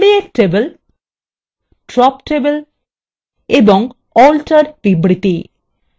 create table drop table এবং alter বিবৃতি